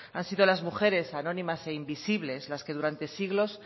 han sido las mujeres anónimas e invisibles las que durante siglos